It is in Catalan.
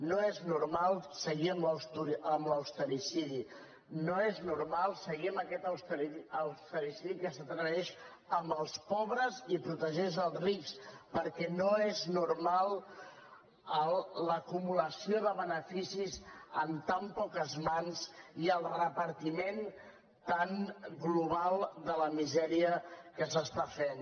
no és normal seguir amb l’ austericidi no és normal seguir amb aquest austericidi que s’atreveix amb els pobres i protegeix els rics perquè no és normal l’acumulació de beneficis en tan poques mans i el repartiment tan global de la misèria que s’està fent